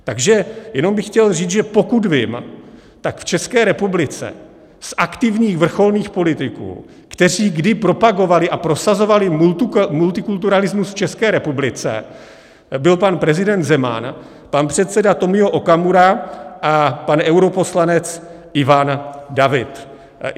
Takže jenom bych chtěl říct, že pokud vím, tak v České republice z aktivních vrcholných politiků, kteří kdy propagovali a prosazovali multikulturalismus v České republice, byl pan prezident Zeman, pan předseda Tomio Okamura a pan europoslanec Ivan David.